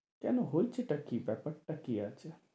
কেন হয়েছে টা কি ব্যাপার টা কি আছে?